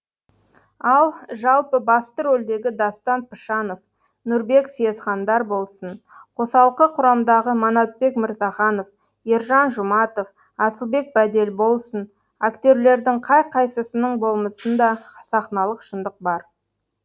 ал жалпы басты рөлдегі дастан пышанов нұрбек съезхандар болсын қосалқы құрамдағы манатбек мырзаханов ержан жұматов асылбек бәделболсын актерлердің қай қайсысының болмысында сахналық шындық бар